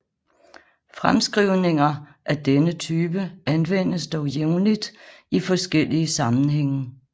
Fremskrivninger af denne type anvendes dog jævnligt i forskellige sammenhænge